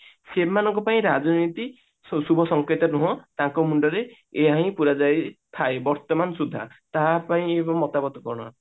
ସେମାନଙ୍କ ପାଇଁ ରାଜନୀତି ଶୁଭ ସଂକେତ ନୁହଁ ତାଙ୍କ ମୁଣ୍ଡରେ ଏଇଆ ହିଁ ପୁରା ଯାଇ ଥାଏ ବର୍ତମାନ ସୁଦ୍ଧା ତାହା ପାଇଁ ମତାମତ କଣ